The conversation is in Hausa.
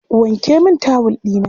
Wanke min tawul ɗina.